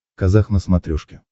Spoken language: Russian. казах на смотрешке